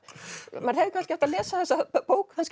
maður hefði kannski átt að lesa þessa bók